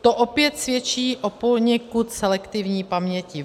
To opět svědčí o poněkud selektivní paměti.